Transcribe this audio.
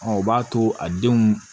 o b'a to a denw